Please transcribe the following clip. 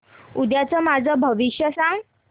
उद्याचं माझं भविष्य सांग